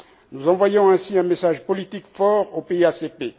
Nous envoyons ainsi un message politique fort aux pays ACP.